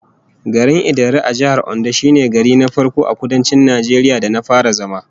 Garin Idanre a Jihar Ondo shine gari na farko a Kudancin Najeriya da na fara zama